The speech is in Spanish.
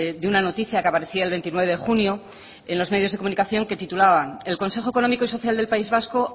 de una noticia que aparecía el veintinueve de junio en los medios de comunicación que titulaban el consejo económico y social del país vasco